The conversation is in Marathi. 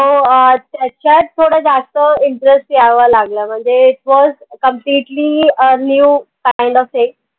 तो अह त्याच्यात थोड जास्त interest यावा लागला म्हणजे it was completely a new kind of thing